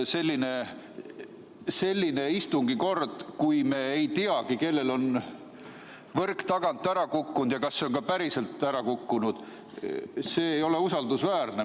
Selline istungi pidamise kord, kui me ei tea, kellel on võrk ära kukkunud ja kas see on ka päriselt ära kukkunud – see ei ole usaldusväärne.